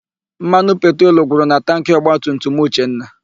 Mmanụ petrolu gwụrụ na tankị ọgbatumtum Uchenna.